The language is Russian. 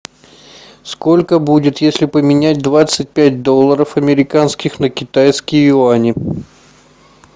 сколько будет если поменять двадцать пять долларов американских на китайские юани